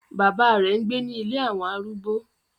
Bàbá rẹ̀ ń gbé ni “ ilé àwọn arúgbó".